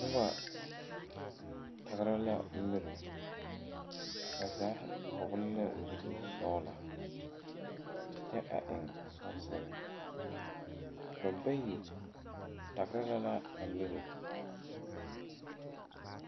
Noba tagra la mire bazaa vɔgle la zupil sɔglɔ kyɛ a eŋ sɔɔsire ba bayi tagre la a mire.